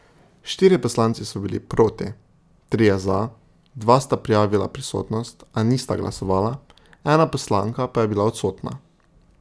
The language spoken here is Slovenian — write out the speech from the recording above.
Štirje poslanci so bili proti, trije za, dva sta prijavila prisotnost, a nista glasovala, ena poslanka pa je bila odsotna.